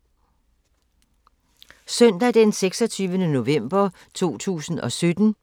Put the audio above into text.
Søndag d. 26. november 2017